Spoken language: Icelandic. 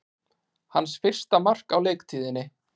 Hans fyrsta mark á leiktíðinni